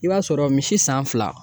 I b'a sɔrɔ misi san fila